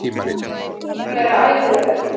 Sem er ærið verk.